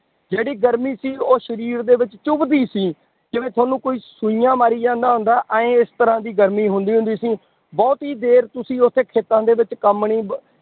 ਜਿਹੜੀ ਗਰਮੀ ਸੀ ਉਹ ਸਰੀਰ ਦੇ ਵਿੱਚ ਚੁੱਭਦੀ ਸੀ, ਜਿਵੇਂ ਤੁਹਾਨੂੰ ਕੋਈ ਸੂਈਆਂ ਮਾਰੀ ਜਾਂਦਾ ਹੁੰਦਾ, ਇਉਂ ਇਸ ਤਰ੍ਹਾਂ ਦੀ ਗਰਮੀ ਹੁੰਦੀ ਹੁੰਦੀ ਸੀ ਬਹੁਤੀ ਦੇਰ ਤੁਸੀਂ ਉੱਥੇ ਖੇਤਾਂ ਦੇ ਵਿੱਚ ਕੰਮ ਨੀ ਬ